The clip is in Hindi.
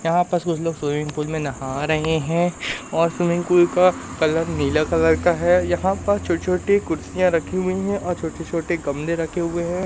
यहां पर कुछ लोग स्विमिंग पूल में नहा रहे हैं और स्विमिंग पूल का कलर नीला कलर का है यहां पर छोटी-छोटी कुर्सियां रखी हुई हैं और छोटे-छोटे गमले रखे हुए हैं।